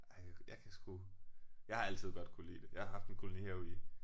Ej jeg kan sgu jeg har altid godt kunnet lide det jeg har haft en kolonihave i